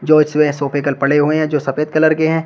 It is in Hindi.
जो इसमें सोफे कल पड़े हुए हैं जो सफेद कलर के हैं।